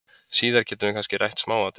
Síðar getum við kannski rætt smáatriðin.